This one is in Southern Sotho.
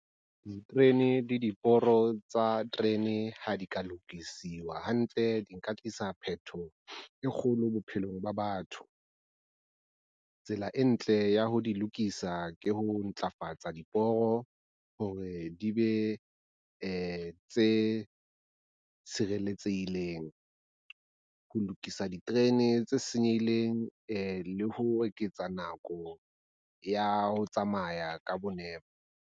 Diterene le diporo tsa terene ha di ka lokisiwa hantle, di nka tlisa phetoho e kgolo bophelong ba batho. Tsela e ntle ya ho di lokisa ke ho ntlafatsa diporo hore di be tse tshireletsehileng. Ho lokisa diterene tse senyehileng le ho eketsa nako ya ho tsamaya ka nepo.